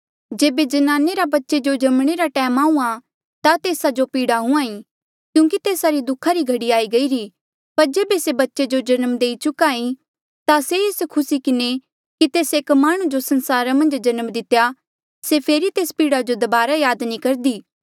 जेबे ज्नाने बच्चे जो जमणे रा टैम आहूँआं ता तेस्सा जो पीड़ा हुंहां ईं क्यूंकि तेस्सा री दु खा री घड़ी आई गईरी पर जेबे से बच्चे जो जन्म देई चुक्हा ई ता से एस खुसी किन्हें कि तेस्से एक माह्णुं जो संसारा मन्झ जन्म दितेया से फेरी तेस पीड़ा जो दबारा याद नी करदी